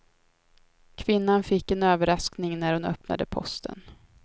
Kvinnan fick en överraskning när hon öppnade posten.